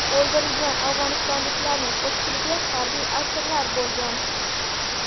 O‘ldirilgan afg‘onistonliklarning ko‘pchiligi harbiy asirlar bo‘lgan.